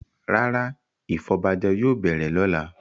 Rárá, ìfọbajẹ yóò bẹ̀rẹ̀ lọ́la.